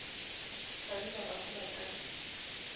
le ba bararo ba ka